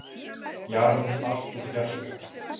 Jarm barst úr fjarska.